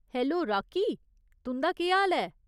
Hello, Rocky. तुं'दा केह् हाल ऐ ?